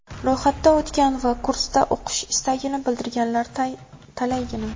Ro‘yxatdan o‘tgan va kursda o‘qish istagini bildirganlar talaygina.